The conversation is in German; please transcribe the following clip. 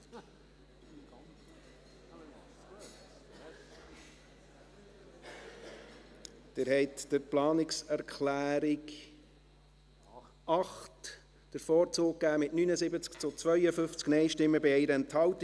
Sie haben der Planungserklärung 8 den Vorzug gegeben, mit 79 Ja- zu 52 Nein-Stimmen bei 1 Enthaltung.